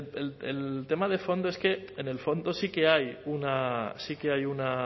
el tema de fondo es que en el fondo sí que hay una sí que hay una